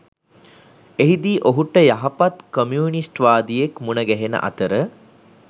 එහිදී ඔහුට යහපත් කොමියුනිස්ට්වාදියෙක් මුණ ගැහෙන අතර